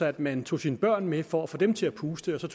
at man tog sine børn med for at få dem til at puste altså